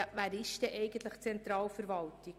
Wer gehört denn eigentlich zur Zentralverwaltung?